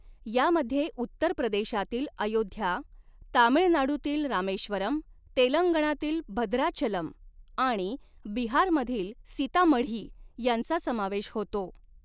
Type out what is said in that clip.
यामध्ये उत्तर प्रदेशातील अयोध्या, तामीळनाडूतील रामेश्वरम, तेलंगणातील भद्राचलम आणि बिहारमधील सीतामढी यांचा समावेश होतो.